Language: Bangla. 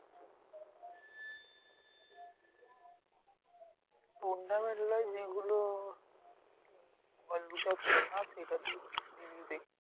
Tournament গুলো যেগুলো সেইটাতেই TV তে দেখছি।